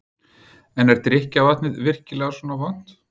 En er drykkjarvatnið virkilega svona vont?